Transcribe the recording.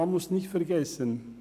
Man darf nicht vergessen: